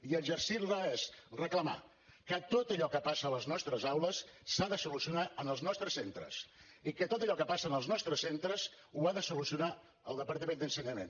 i exercir la és reclamar que tot allò que passa a les nostres aules s’ha de solucionar en els nostres centres i que tot allò que passa en els nostres centres ho ha de solucionar el departament d’ensenyament